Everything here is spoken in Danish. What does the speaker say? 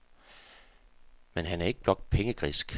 Men han er ikke blot pengegrisk.